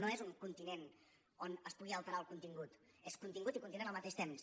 no és un continent on es pugui alterar el contingut és contingut i continent al mateix temps